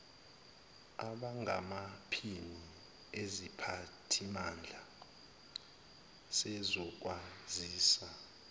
abangamaphini esiphathimandla sezokwazisa